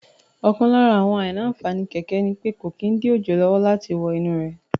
Ọ̀kan lára àwọn àìní-ànfàní kẹ̀kẹ́ ni pé kò kí n dí òjò lọ́wọ́ láti wọ inú rẹ̀